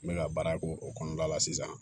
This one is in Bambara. N bɛ ka baara k'o kɔnɔna la sisan